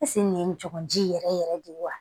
nin ye n jɔ ji yɛrɛ yɛrɛ de ye wa